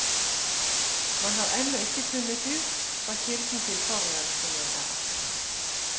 Man har ennå ikke funnet ut hva kilden til forurensingen er.